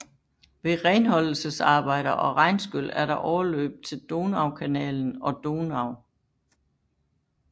Ved renholdelsesarbejder og regnskyl er der overløb til Donaukanal og Donau